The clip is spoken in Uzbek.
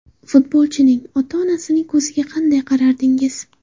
Futbolchining ota-onasining ko‘ziga qanday qarardingiz?